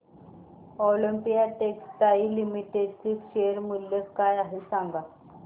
Olympia textiles limited चे share मूल्य काय आहे सांगा बरं